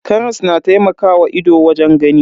Karas na taimakawa ido wajen gani.